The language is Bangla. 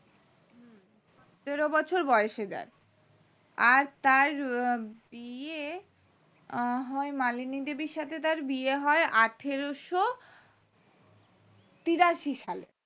সতেরো বছর বয়সে যাই আর তার বিয়ে হয় মালিনী দেবীর সাথে বিয়ে হয় আঠারোশো তিরাশি সালে